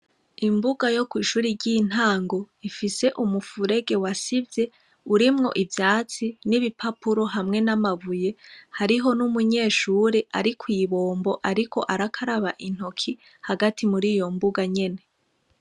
Imbuga yokwishure ry' intango ifise umufurege wasivye urimwo ivyatsi n' ibipapuro hamwe n' amabuye hariho n' umunyeshure arikwibombo ariko arakaraba intoki hagati muriyombuga nyene.